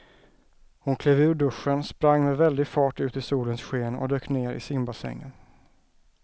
Hon klev ur duschen, sprang med väldig fart ut i solens sken och dök ner i simbassängen.